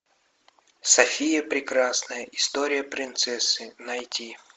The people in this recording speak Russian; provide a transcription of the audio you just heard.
софия прекрасная история принцессы найти